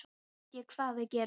Nú veit ég hvað við gerum